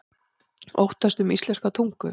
Óttast um íslenska tungu